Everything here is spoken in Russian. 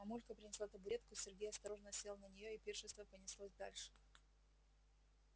мамулька принесла табуретку сергей осторожно сел на неё и пиршество понеслось дальше